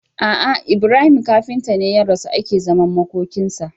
Ah ah Ibrahim kafinta ne ya rasu ake zaman makokin sa